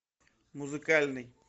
музыкальный